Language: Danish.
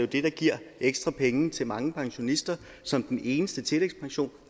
det der giver ekstra penge til mange pensionister som den eneste tillægspension